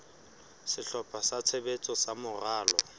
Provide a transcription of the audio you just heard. sehlopha sa tshebetso sa moralo